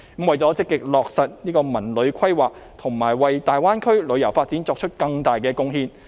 為了積極落實這個文化和旅遊規劃，以及為大灣區旅遊發展作出更大貢獻。